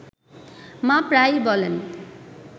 মা প্রায়ই বলেন